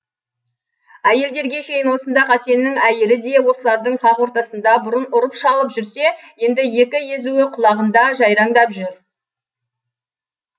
әйелдерге шейін осында қасеннің әйелі де осылардың қақ ортасында бұрын ұрып шалып жүрсе енді екі езуі құлағында жайраңдап жүр